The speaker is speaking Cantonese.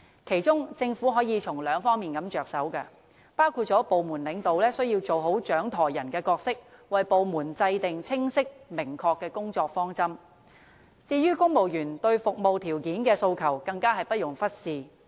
其中，政府可從兩方面着手，包括部門領導需要做好"掌舵人"的角色，為部門制訂清晰、明確的工作方針；至於公務員對服務條件的訴求，更加是不容忽視的。